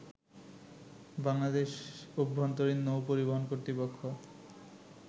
বাংলাদেশ অভ্যন্তরীণ নৌ পরিবহন কর্তৃপক্ষ